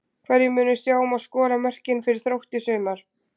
Hverjir munu sjá um að skora mörkin fyrir Þrótt í sumar?